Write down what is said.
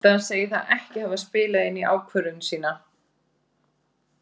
Ásta segir það ekki hafa spilað inn í ákvörðun sína.